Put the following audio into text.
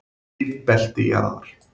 Lífbelti jarðar.